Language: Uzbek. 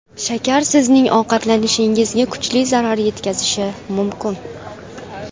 Shakar sizning ovqatlanishingizga kuchli zarar yetkazishi mumkin.